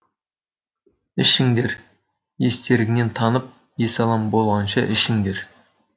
ішіңдер естеріңнен танып есалаң болғанша ішіңдер